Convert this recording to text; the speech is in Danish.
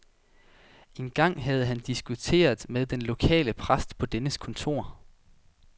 En gang havde han diskuteret med den lokale præst på dennes kontor.